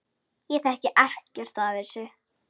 Ég þekki ekkert af þessu.